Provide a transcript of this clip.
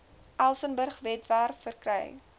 elsenburg webwerf verkry